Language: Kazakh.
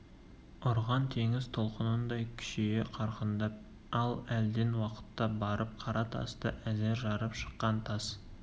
ұрған теңіз толқынындай күшейе қарқындап ал әлден уақытта барып қара тасты әзер жарып шыққан тас